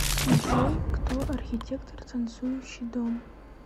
джой кто архитектор танцующий дом